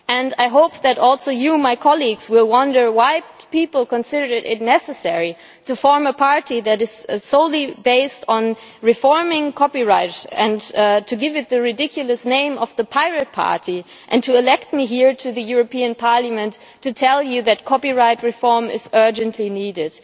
I also hope that you, my colleagues, will wonder why people considered it necessary to form a party that is solely based on reforming copyright, to give it the ridiculous name of the Pirate Party and to elect me here to the European Parliament to tell you that copyright reform is urgently needed.